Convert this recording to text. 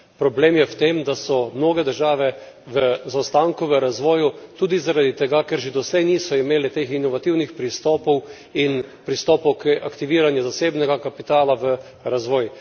Problem je v tem, da so mnoge države v zaostanku v razvoju tudi zaradi tega, ker že doslej niso imele teh inovativnih pristopov in pristopov k aktiviranju zasebnega kapitala v razvoj.